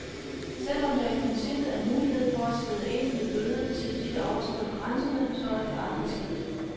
Selvom der i princippet er mulighed for at skride ind med bøde til de, der overskrider grænserne, så er det aldrig sket.